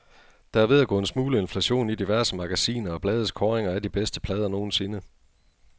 Der er ved at gå en smule inflation i diverse magasiner og blades kåringer af de bedste plader nogensinde.